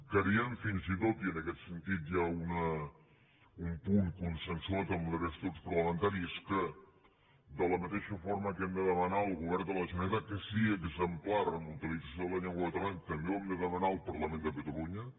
creiem fins i tot i en aquest sentit hi ha un punt consensuat amb la resta dels grups parlamentaris que de la mateixa forma que hem de demanar al govern de la generalitat que sigui exemplar amb la utilització de la llengua catalana també ho hem de demanar al parlament de catalunya